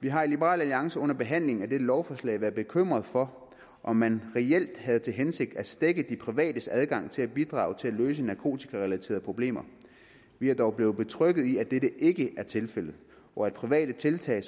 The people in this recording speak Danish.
vi har i liberal alliance under behandlingen af dette lovforslag været bekymret for om man reelt havde til hensigt at stække de privates adgang til at bidrage til at løse narkotikarelaterede problemer vi er dog blevet betrygget i at dette ikke er tilfældet og at private tiltag